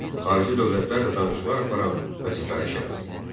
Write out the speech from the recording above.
Xarici dövlətlərlə danışıqlar aparan vəzifəli şəxs.